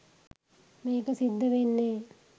මේක සිද්ධ වෙන්නේ.